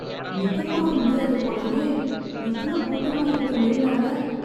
நிக்கக் கூட முடியாது போலயே, இவ்ளோ கூட்டமா இருக்கு மெரினால.